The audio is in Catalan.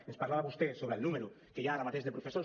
ens parlava vostè sobre el número que hi ha ara mateix de professors